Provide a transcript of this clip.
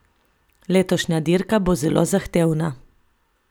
Letošnja dirka bo zelo zahtevna.